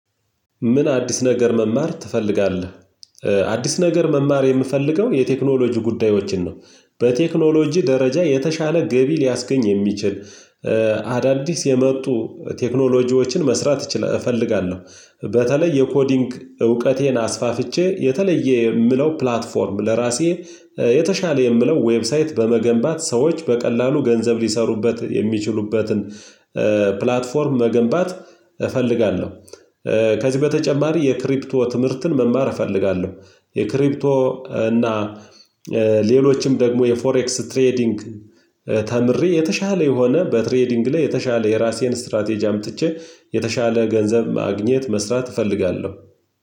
ምን አዲስ ነገር መማር ትፈልጋለህ? አዲስ ነገር መማር የምፈልገው የቴክኖሎጂ ጉዳዮችን ነው። በቴክኖሎጂ ደረጃ የተሻለ ገቢ ሊያስገኝ የሚችል አዳዲስ የመጡ ቴክኖሎጂዎችን መስራት እፈልጋለሁ በተለይ የኮዲንግ እውቀቴን አስፋፍቼ የተለየ የምለው ፕላትፎርም ለራሴ የተሻለ የምለው ዌብሳይት በመገንባት ሰዎች በቀላሉ ገንዘብ ሊሰሩበት የሚችሉበትን ፕላትፎርም መገንባት እፈልጋለሁ። ከዚህ በተጨማሪ የክሪፕቶ ትምህርትን መማር እፈልጋለሁ። የክሪፕቶ እና ሌሎችም ደግሞ የፎሬክስ ትሬዲንግ ተምሬ የተሻለ የሆነ በትሬዲንግ ላይ የተሻለ የራሴን ስትራቴጂ አምጥቼ የተሻለ ገንዘብ ማግኘት መስራት እፈልጋለሁ።